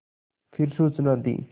फिर सूचना दी